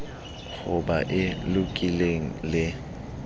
ho ba e lokileng le